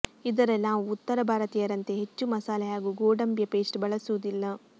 ಇದರಲ್ಲಿ ನಾವು ಉತ್ತರ ಭಾರತೀಯರಂತೆ ಹೆಚ್ಚು ಮಸಾಲೆ ಹಾಗೂ ಗೋಡಂಬಿಯ ಪೇಸ್ಟ್ ಬಳಸುವುದಿಲ್ಲ